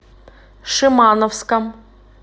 шимановском